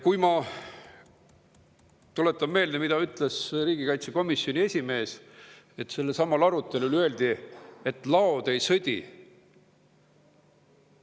Ma tuletan meelde, mida ütles praegu riigikaitsekomisjoni esimees, et sel arutelul öeldi, et laod ei sõdi.